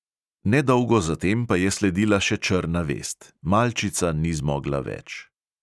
Ne dolgo zatem pa je sledila še črna vest: malčica ni zmogla več.